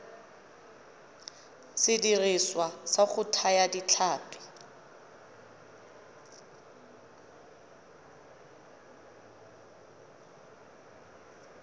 sediriswa sa go thaya ditlhapi